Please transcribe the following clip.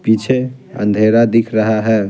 पीछे अंधेरा दिख रहा है।